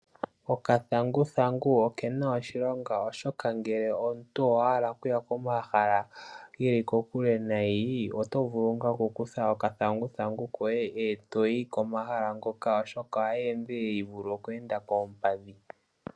Okathanguthangu kena oshilonga oshoka ngele omuntu owa hala okuya komahala geli kokule nayi, oto vulu nga oku kutha oka thanguthangu koye, eto yi komahala ngoka oshoka ohaka endelele shi vulithe oku enda koompadhi.